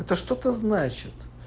это что-то значит